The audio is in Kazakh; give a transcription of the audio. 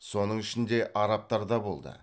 соның ішінде арабтар да болды